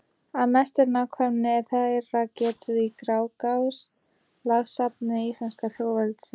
Af mestri nákvæmni er þeirra getið í Grágás, lagasafni íslenska þjóðveldisins.